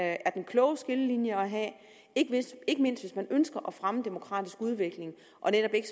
jeg er den kloge skillelinje at have ikke mindst hvis man ønsker at fremme demokratisk udvikling og netop ikke